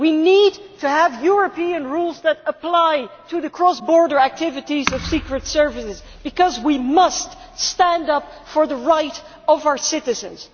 we need to have European rules that apply to the cross border activities of secret services, because we must stand up for the rights of our citizens.